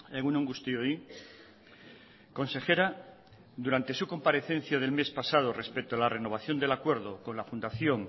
egun on guztioi consejera durante su comparecencia del mes pasado respecto a la renovación del acuerdo con la fundación